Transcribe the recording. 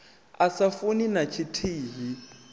a sa funi na tshithihi